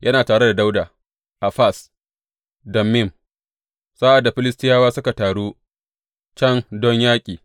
Yana tare da Dawuda a Fas Dammim sa’ad da Filistiyawa suka taru can don yaƙi.